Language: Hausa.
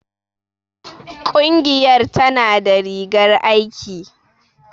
Ƙungiyar tana da rigar aiki.